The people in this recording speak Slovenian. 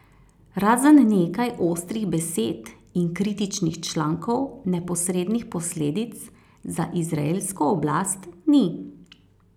Razen nekaj ostrih besed in kritičnih člankov neposrednih posledic za izraelsko oblast ni.